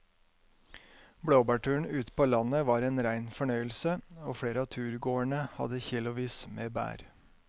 Blåbærturen ute på landet var en rein fornøyelse og flere av turgåerene hadde kilosvis med bær.